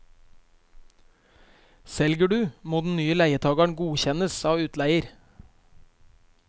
Selger du, må den nye leietageren godkjennes av utleier.